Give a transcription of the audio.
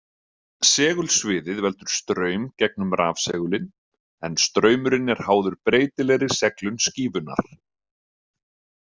Segulsviðið veldur straum gegnum rafsegulinn en straumurinn er háður breytilegri seglun skífunnar.